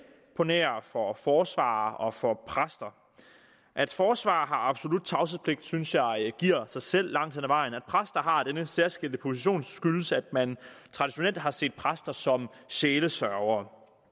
på nær for forsvarere og for præster at forsvarere har absolut tavshedspligt synes jeg giver sig selv langt hen ad vejen at præster har denne særskilte position skyldes at man traditionelt har set præster som sjælesørgere